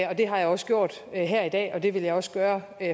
og det har jeg også gjort her i dag og det vil jeg også gøre